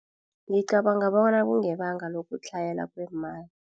Ngicabanga bona kungebanga lokutlhayela kweemali.